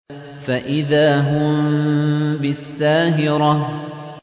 فَإِذَا هُم بِالسَّاهِرَةِ